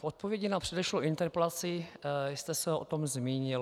V odpovědi na předešlou interpelaci jste se o tom zmínil.